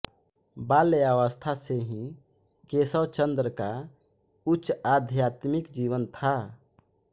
बाल्यावस्था से ही केशवचंद्र का उच्च आध्यात्मिक जीवन था